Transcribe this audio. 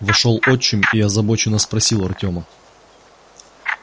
вошёл отчим и озабоченно спросил артёма